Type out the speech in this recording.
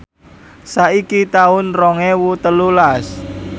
saiki taun rong ewu telulas